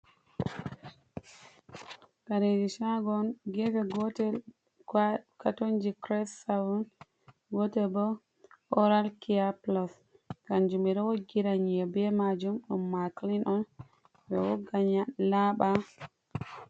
Kareeji caago on, geefe gootel katonji kires saton, ,gootel bo ooral kiyaa pulos, kanjum ɓe ɗo woggira ƴii`e be maajum ɗum maakilin on ɓe wogga laaɓa.